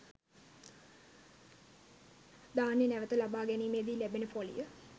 ධාන්‍ය නැවත ලබා ගැනීමේදී ලැබෙන පොලිය